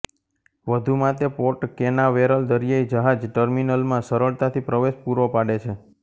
વધુમાં તે Port Canaveral દરિયાઇ જહાજ ટર્મીનલમાં સરળતાથી પ્રવેશ પૂરો પાડે છે